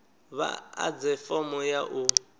vha ḓadze fomo ya u